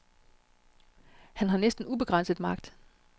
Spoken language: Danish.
Han har næsten ubegrænset magt.